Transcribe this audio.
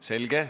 Selge.